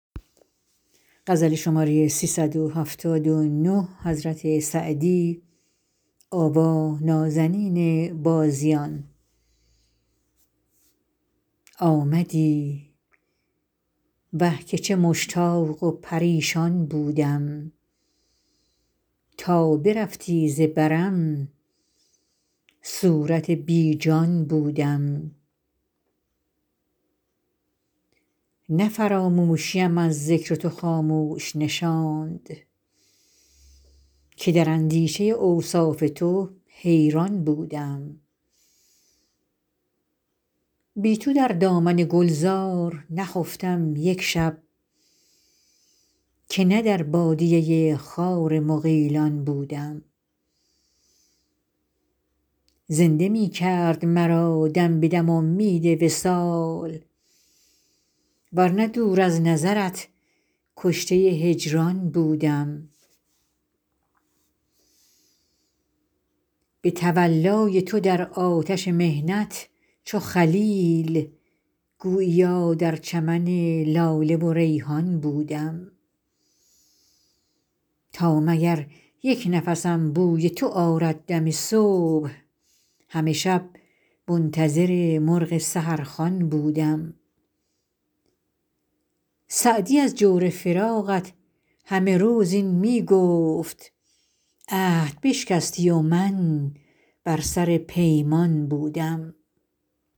آمدی وه که چه مشتاق و پریشان بودم تا برفتی ز برم صورت بی جان بودم نه فراموشیم از ذکر تو خاموش نشاند که در اندیشه اوصاف تو حیران بودم بی تو در دامن گلزار نخفتم یک شب که نه در بادیه خار مغیلان بودم زنده می کرد مرا دم به دم امید وصال ور نه دور از نظرت کشته هجران بودم به تولای تو در آتش محنت چو خلیل گوییا در چمن لاله و ریحان بودم تا مگر یک نفسم بوی تو آرد دم صبح همه شب منتظر مرغ سحرخوان بودم سعدی از جور فراقت همه روز این می گفت عهد بشکستی و من بر سر پیمان بودم